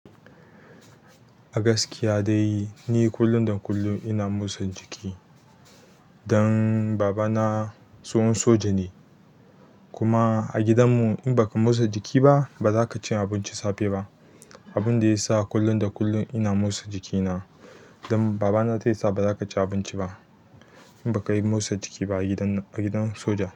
A gaskiya dai ni kullum da kullum ina motsa jiki dan baba na tsohon soja ne kuma a gidan mu in baka motsa jiki ba ba zaka ci abinci safe ba. Abun da ya sa kullum da kullum ina motsa jikina dan baba na zai sa ba za ka ci abinci ba in baka yi motsa jiki ba a gidan soja.